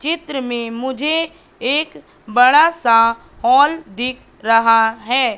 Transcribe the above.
चित्र में मुझे एक बड़ा सा हॉल दिख रहा है।